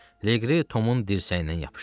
Liqri Tomun dirsəyindən yapışdı.